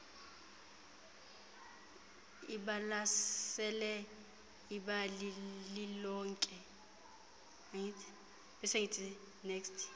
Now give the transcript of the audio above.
ibalasele ibali lilonke